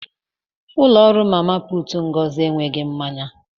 Ụlọ nri mama puutu Ngozi enweghị mmanya.